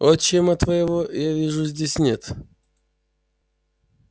отчима твоего я вижу здесь нет